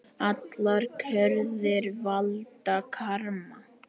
Allar gjörðir valda karma.